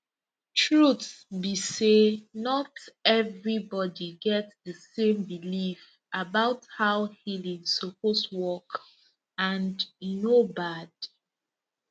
truth be say not everybody get the same belief about how healing suppose work and e no bad